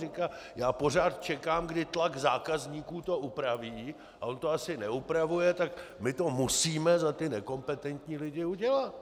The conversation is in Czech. Říká: Já pořád čekám, kdy tlak zákazníků to upraví, a on to asi neupravuje, tak my to musíme za ty nekompetentní lidi udělat.